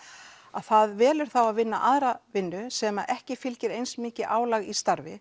að það velur þá að vinna aðra vinnu sem að ekki fylgir eins mikið álag í starfi